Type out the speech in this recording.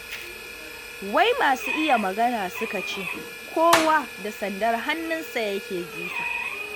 Wai masu iya magana suka ce, kowa da sandar hannunsa yake jifa.